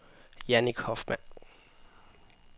Jannik Hoffmann